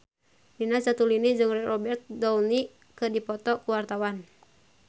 Nina Zatulini jeung Robert Downey keur dipoto ku wartawan